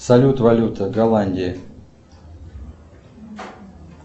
салют валюта голландии